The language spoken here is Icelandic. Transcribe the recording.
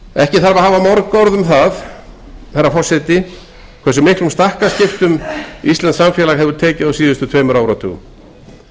ekki þarf að hafa mörg orð um það hversu miklum stakkaskiptum íslenskt samfélag hefur tekið á síðustu tveimur áratugum